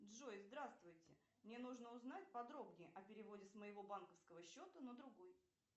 джой здравствуйте мне нужно узнать подробнее о переводе с моего банковского счета на другой